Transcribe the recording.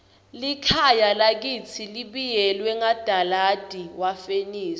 likhaya lakitsi libiyelwe ngadalada wagesi